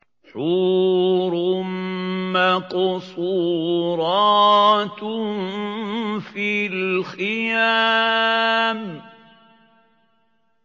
حُورٌ مَّقْصُورَاتٌ فِي الْخِيَامِ